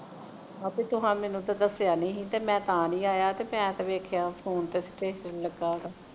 ਆਪੇ ਤੁਸਾਂ ਤੇ ਮੈਨੂੰ ਦੱਸਿਆ ਨਹੀਂ ਸੀ ਤੇ ਮੈਂ ਤਾਂ ਨਹੀਂ ਆਇਆ ਤੇ ਮੈਂ ਤੇ ਵੇਖਿਆ phone ਤੇ status ਲਗਾਉਦਾ